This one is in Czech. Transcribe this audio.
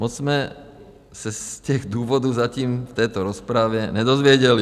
Moc jsme se z těch důvodů zatím v této rozpravě nedozvěděli.